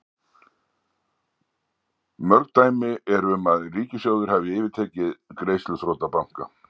mörg dæmi eru um að ríkissjóðir hafi yfirtekið greiðsluþrota banka